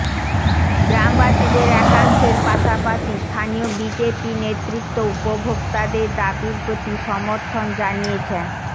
গ্রামবাসীদের একাংশের পাশাপাশি স্থানীয় বিজেপি নেতৃত্বও উপভোক্তাদের দাবির প্রতি সমর্থন জানিয়েছেন